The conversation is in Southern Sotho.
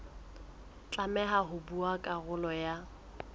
tlameha ho ba karolo ya